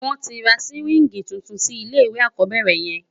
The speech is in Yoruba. Won ti ra siwingi túntún si ilé iwé ákòbèrè yèn